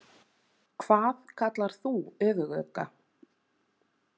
Hvað kallar þú öfugugga?